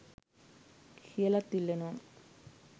කියලත් ඉල්ලනවා.